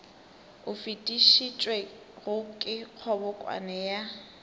o fetišitšwego ke kgobokano ya